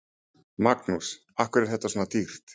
Magnús: Af hverju er þetta svona dýrt?